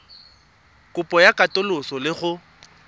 kopo ya katoloso le go